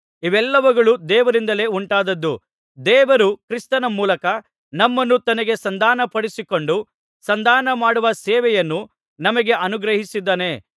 ಇವೆಲ್ಲವುಗಳು ದೇವರಿಂದಲೇ ಉಂಟಾದದ್ದು ದೇವರು ಕ್ರಿಸ್ತನ ಮೂಲಕ ನಮ್ಮನ್ನು ತನಗೆ ಸಂಧಾನಪಡಿಸಿಕೊಂಡು ಸಂಧಾನಮಾಡುವ ಸೇವೆಯನ್ನು ನಮಗೆ ಅನುಗ್ರಹಿಸಿದ್ದಾನೆ